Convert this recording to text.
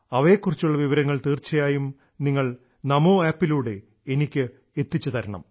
അവയെക്കുറിച്ചുള്ള വിവരങ്ങൾ തീർച്ചയായും നിങ്ങൾ നമോ ആപ്പിലൂടെ എനിക്ക് എത്തിച്ചുതരണം